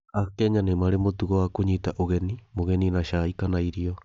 AKenya nĩ marĩ mũtugo wa kũnyita ũgeni mũgeni n acai kana irio.